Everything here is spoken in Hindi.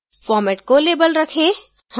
format को label रखें